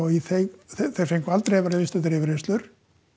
þeir fengu aldrei að vera viðstaddir yfirheyrslur